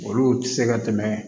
Olu tɛ se ka tɛmɛ